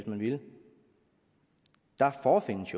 man ville forefindes